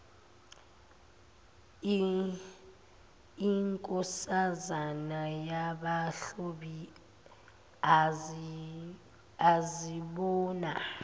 inkosazana yamahlubi azibona